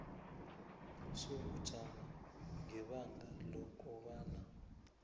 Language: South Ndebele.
sobujamo ngebanga lokobana